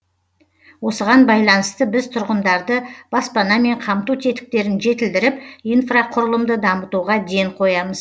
осыған байланысты біз тұрғындарды баспанамен қамту тетіктерін жетілдіріп инфрақұрылымды дамытуға ден қоямыз